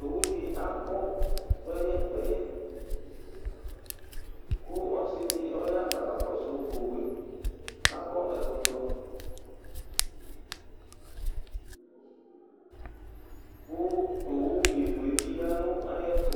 Owu di agbɔ kpɛyɛkpɛyɛku ɔsidi ɔya kʋ ɔkakɔsu owu yɛakɔ ɛkɔtɔku owumivu yɛ bi yanʋ ayiʋ ɛtu,